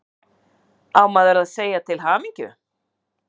Á maður að segja til hamingju?